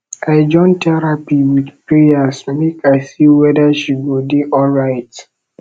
i join terapi wit prayers make i see weda she go dey alright